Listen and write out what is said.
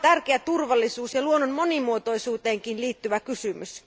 Tämä on tärkeä turvallisuus ja luonnon monimuotoisuuteenkin liittyvä kysymys.